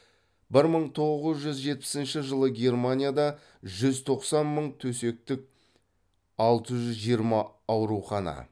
бір мың тоғыз жүз жетпісінші жылы германияда жүз тоқсан мың төсектік алты жүз жиырма аурухана